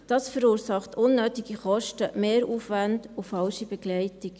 Das verursacht unnötige Kosten, Mehraufwände und falsche Begleitung.